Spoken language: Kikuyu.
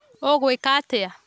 Ũgũikatĩa?